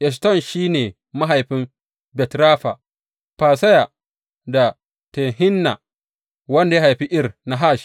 Eshton shi ne mahaifin Bet Rafa, Faseya da Tehinna wanda ya haifi Ir Nahash.